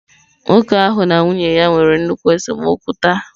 Nwoke ahụ na nwunye ya nwere nnukwu esemokwu taa.